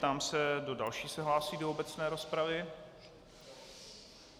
Ptám se, kdo další se hlásí do obecné rozpravy.